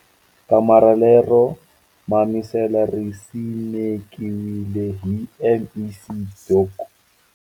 Kamara lero mamisela ri simekiwile hi MEC Dok.